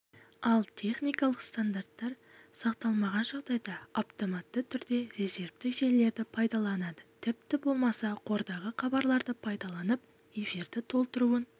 ал техникалық стандарттар сақталмаған жағдайда автоматты түрде резервтік желілерді пайдаланады тіпті болмаса қордағы хабарларды пайдаланып эфирді толтыруын